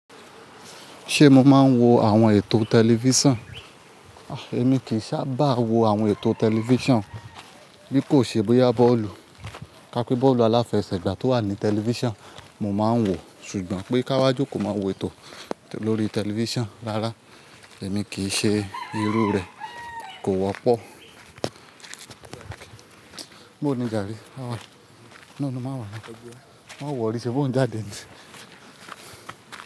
Ṣé mo máa ń wo àwọn ètò tẹlifíṣàn? Ah, èmi kì í sábà wo àwọn ètò tẹlifíṣàn bí kò ṣe bóyá bọ́ọ̀lù. Ka pé bọ́ọ̀lù aláfẹsẹ̀gbá tó wà ní tẹlifíṣàn, mo máa ń wòọ̀. Ṣùgbọ́n pé káwọ́ jókòó máa wo ètò lórí tẹlifíṣàn. Rárá, èmi kì í ṣe irú rẹ̀ kò wọ́pọ̀. Bó ni jàre? Àwọ̀n náà ni máa wà ní, máa wọ̀rí, ṣèbí o ń jádé ni?